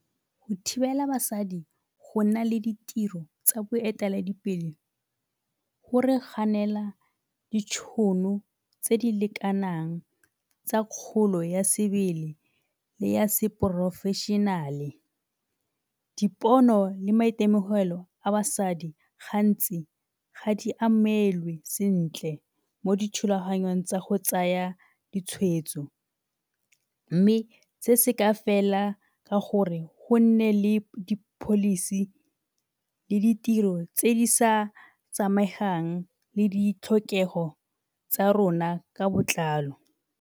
Go thibela basadi go nna le ditiro tsa boeteledipele go re ganela ditšhono tse di lekanang tsa kgolo ya sebele le ya seporofešenale. Dipono le maitemogelo a basadi gantsi ga di amelwe sentle mo dithulaganyong tsa go tsaya ditshwetso mme se se ka fela ka gore go nne le di-policy le ditiro tse di sa samegang le ditlhokego tsa rona ka botlalo.